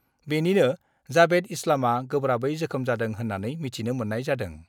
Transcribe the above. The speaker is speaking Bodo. बेनिनो जाबेद इस्लामआ गोब्राबै जोखोम जादों होन्नानै मिथिनो मोन्नाय जादों।